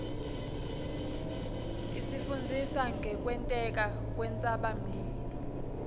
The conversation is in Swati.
isifundzisa ngekwenteka kwentsabamlilo